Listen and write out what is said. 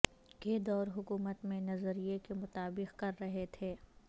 کے دور حکومت میں نظریے کے مطابق کر رہے تھے